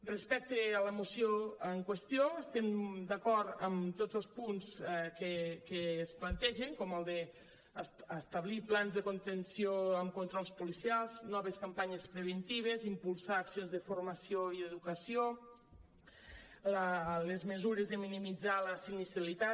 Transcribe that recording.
respecte a la moció en qüestió estem d’acord en tos els punts que es plantegen com el d’establir plans de contenció amb controls policials noves campanyes preventives impulsar accions de formació i educació les mesures de minimitzar la sinistralitat